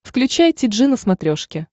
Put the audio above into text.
включай ти джи на смотрешке